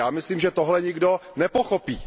Ja myslím, že tohle nikdo nepochopí.